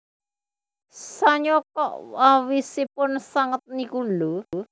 Sanyo kok awisipun sanget niku lho